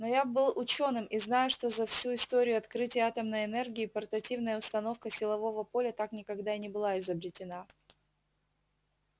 но я был учёным и знаю что за всю историю открытия атомной энергии портативная установка силового поля так никогда и не была изобретена